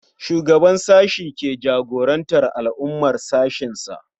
Shugaban sashe shi ke jagorantar al'amuran sashensa.